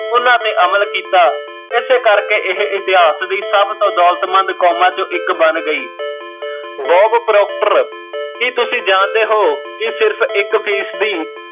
ਉਹਨਾਂ ਤੇ ਅਮਲ ਕੀਤਾ ਏਸੇ ਕਰ ਕੇ ਏਹ ਇਤਿਹਾਸ ਦੀ ਸਭ ਤੋਂ ਦੋਲਤਮੰਦ ਕੌਮਾਂ ਚੋਂ ਇੱਕ ਬਣ ਗਈ, ਬੋਬ ਪਰੋਪਟਰ, ਕੀ ਤੁਸੀਂ ਜਾਣ ਦੇ ਹੋ ਕੀ ਸਿਰਫ਼ ਇੱਕ ਫ਼ੀਸਦੀ